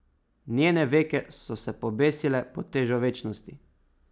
Njene veke so se pobesile pod težo večnosti.